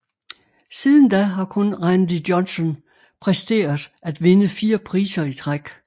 Siden da har kun Randy Johnson præsteret at vinde 4 priser i træk